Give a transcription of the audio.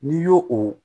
N'i y'o o